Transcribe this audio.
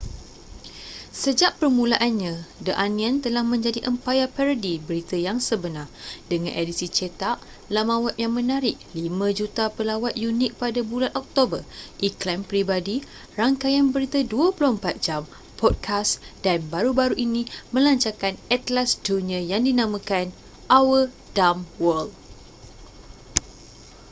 sejak permulaannya the onion telah menjadi empayar parodi berita yang sebenar dengan edisi cetak laman web yang menarik 5,000,000 pelawat unik pada bulan oktober iklan peribadi rangkaian berita 24 jam podcast dan baru-baru ini melancarkan atlas dunia yang dinamakan our dumb world